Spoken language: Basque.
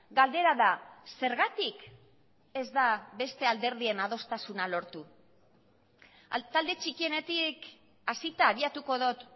galdera da zergatik ez da beste alderdien adostasuna lortu talde txikienetik hasita abiatuko dut